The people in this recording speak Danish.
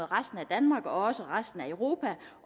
resten af danmark og også med resten af europa